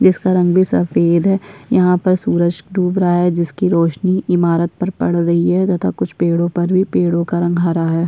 जिसका रंग भी सफ़ेद है यहाँ पर सूरज डूब रहा है जिसकी रौशनी ईमारत पर पड़ रही है तथा कुछ पेड़ो पर भी पेड़ो का रंग हरा है।